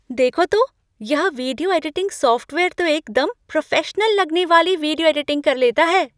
देखो तो! यह वीडियो एडिटिंग सॉफ़्टवेयर तो एकदम प्रोफेशनल लगने वाली वीडियो एडिटिंग कर लेता है।